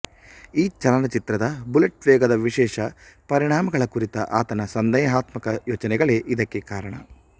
ಈ ಚಲನಚಿತ್ರದ ಬುಲೆಟ್ ವೇಗದ ವಿಶೇಷ ಪರಿಣಾಮಗಳ ಕುರಿತ ಆತನ ಸಂದೇಹಾತ್ಮಕ ಯೋಚನೆಗಳೇ ಇದಕ್ಕೆ ಕಾರಣ